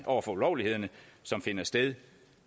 over for ulovlighederne som finder sted